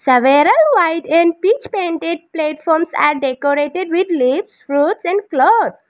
several white and peach painted platforms are decorated with leaves fruits and clothe.